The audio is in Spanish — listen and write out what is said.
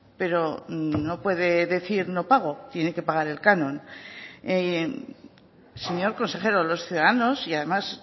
pero no puede decir no pago tiene que pagar el canon señor consejero los ciudadanos y además